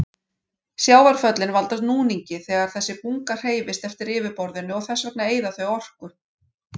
Sjávarföllin valda núningi þegar þessi bunga hreyfist eftir yfirborðinu og þess vegna eyða þau orku.